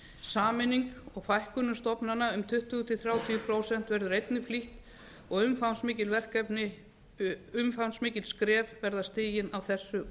sameining og fækkun stofnana um tuttugu til þrjátíu prósent verður einnig flýtt og umfangsmikil skref verða stigin á þessu ári og